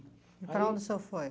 E para onde o senhor foi?